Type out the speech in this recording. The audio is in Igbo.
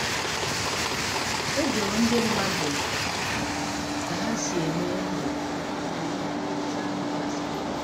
O jụrụ ndị mmadụ mbụ ka ha si eme ndụ mgbe ihe mwute ahụ gasịrị.